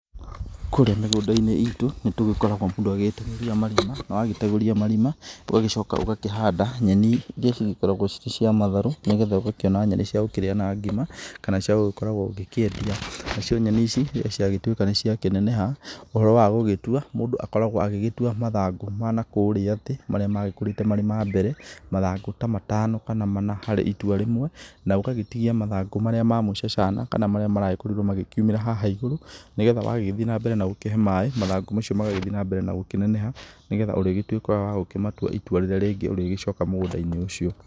Kũrĩa mĩgũnda-inĩ ĩtũ nĩtũgĩkoragwo mũndũ agĩgĩtegũria marima na wagĩtegũria marima ũgagĩcoka ũgakĩhanda nyeni iria cigĩkoragwo cirĩ cia matharu nĩgetha ũgagĩkiona nyeni cia kũrĩa na ngima kana cia gũgĩkoragwo ũkĩendia, nacio nyeni ici rĩrĩa ciagĩtuĩka nĩ cia kineneha ũhoro wagũgĩtua mũndũ akoragwo agĩgĩtua mathangũ ma nakũríĩ thĩ marĩa magĩkorĩte marĩ ma mbere mathangũ ta matano kana mana harĩ itwa rĩmwe na ũgagĩtigia mathangũ marĩa ma mũcanana marĩa marakorirwo magĩkĩumĩra na haha igũru nĩgetha wagĩgĩthiĩ na mbere na gũgĩkĩhe maĩ mathagũ macio magagĩthiĩ na mbere na kũneneha nĩgetha ũrĩtuĩka wagũkĩmatua itua rĩrĩa rĩngĩ ũrĩgĩcoka mũgũnda-inĩ ũcio.